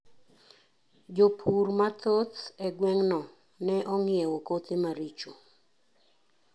Jopur mathoth e gweng no ne ong'iewo kothe maricho.